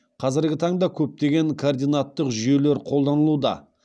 қазіргі таңда көптеген координаттық жүйелер қолданылуда